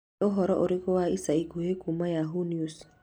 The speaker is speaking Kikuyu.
nĩ ũhoro ũrĩkũ wa ica ikuhĩ kuuma yahoo News